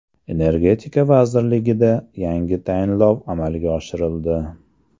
Energetika vazirligida yangi tayinlov amalga oshirildi.